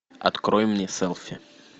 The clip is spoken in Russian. открой мне селфи